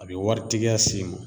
A bi waritigiya s'i ma